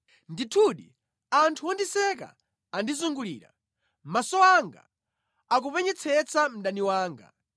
Ndithudi, anthu ondiseka andizungulira; maso anga akupenyetsetsa mdani wanga.